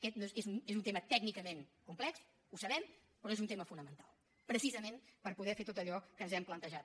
aquest és un tema tècnicament complex ho sabem però és un tema fonamental precisament per poder fer tot allò que ens hem plantejat